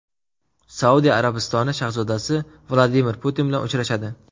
Saudiya Arabistoni shahzodasi Vladimir Putin bilan uchrashadi.